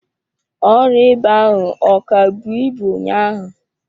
Ọrịa ịba ahụ ọ ka bụọ ibu ụnyaahụ?